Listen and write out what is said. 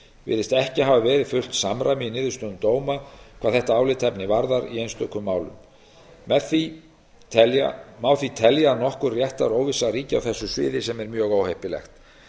virðist ekki hafa verið fullt samræmi í niðurstöðum dóma hvað þetta álitaefni varðar í einstökum málum má því telja að nokkur réttaróvissa ríki á þessu sviði sem er mjög óheppilegt